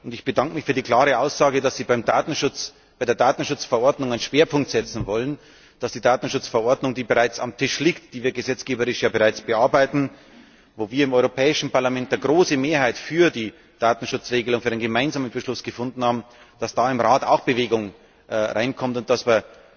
Ich bedanke mich für die klare Aussage, dass Sie bei der Datenschutzverordnung einen Schwerpunkt setzen wollen, dass bei der Datenschutzverordnung, die bereits auf dem Tisch liegt, die wir gesetzgeberisch ja bereits bearbeiten, wo wir im Europäischen Parlament eine große Mehrheit für die Datenschutzregelung, für den gemeinsamen Beschluss gefunden haben, im Rat auch Bewegung hineinkommt und dass wir